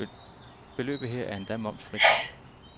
Beløbet her er endda momsfrit.